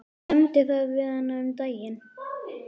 Ég nefndi það við hana um daginn.